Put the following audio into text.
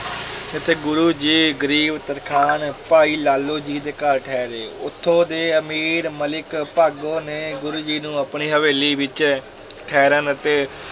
ਇੱਥੇ ਗੁਰੂ ਜੀ ਗਰੀਬ ਤਰਖਾਣ ਭਾਈ ਲਾਲੋ ਜੀ ਦੇ ਘਰ ਠਹਿਰੇ, ਉਥੋਂ ਦੇ ਅਮੀਰ ਮਲਿਕ ਭਾਗੋ ਨੇ ਗੁਰੂ ਜੀ ਨੂੰ ਆਪਣੀ ਹਵੇਲੀ ਵਿੱਚ ਠਹਿਰਨ ਅਤੇ